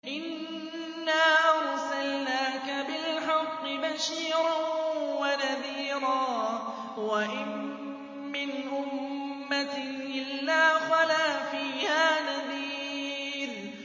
إِنَّا أَرْسَلْنَاكَ بِالْحَقِّ بَشِيرًا وَنَذِيرًا ۚ وَإِن مِّنْ أُمَّةٍ إِلَّا خَلَا فِيهَا نَذِيرٌ